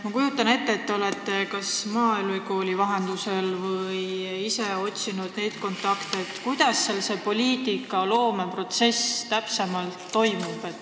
Ma kujutan ette, et te olete kas maaülikooli vahendusel teada saanud või ise otsinud neid kontakte, et uurida, kuidas seal see poliitika kujundamine täpsemalt toimub.